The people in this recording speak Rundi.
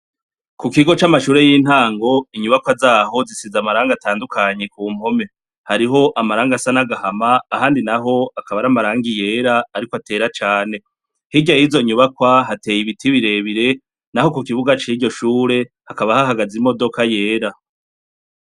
Ikigo c'amashure y'intango, inyubakwa zaho, zisize amarangi atandukanye Kumpome, hariho amarangi asa n'agahama ahandi naho akaba ari amarangi yera ariko atera cane, hirya y'izo nyubakwa hateye ibiti birebire ,naho kukibuga c'iryo shure hakaba hahagaze imodoka yera.